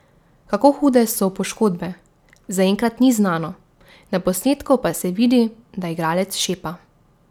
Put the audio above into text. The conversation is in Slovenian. Kako hude so poškodbe, zaenkrat ni znano, na posnetku pa se vidi, da igralec šepa.